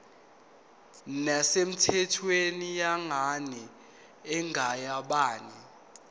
nesemthethweni yengane engeyabanye